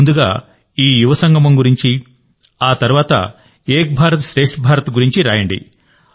ముందుగా ఈ యువ సంగమం గురించి ఆ తర్వాత ఏక్ భారత్శ్రేష్ట్ భారత్ గురించి రాయండి